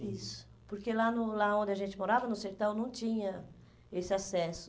Isso, porque lá no lá onde a gente morava, no sertão, não tinha esse acesso.